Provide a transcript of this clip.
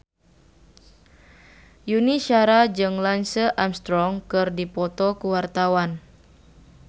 Yuni Shara jeung Lance Armstrong keur dipoto ku wartawan